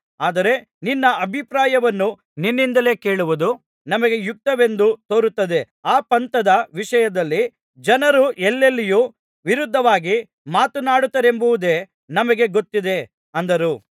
ಆದರೆ ನಿನ್ನ ಅಭಿಪ್ರಾಯವನ್ನು ನಿನ್ನಿಂದಲೇ ಕೇಳುವುದು ನಮಗೆ ಯುಕ್ತವೆಂದು ತೋರುತ್ತದೆ ಆ ಪಂಥದ ವಿಷಯದಲ್ಲಿ ಜನರು ಎಲ್ಲೆಲ್ಲಿಯೂ ವಿರುದ್ಧವಾಗಿ ಮಾತನಾಡುತ್ತಾರೆಂಬದೊಂದೇ ನಮಗೆ ಗೊತ್ತದೆ ಅಂದರು